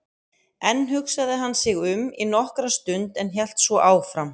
Enn hugsaði hann sig um í nokkra stund en hélt svo áfram